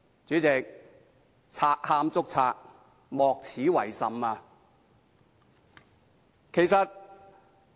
主席，賊喊捉賊，莫此為甚。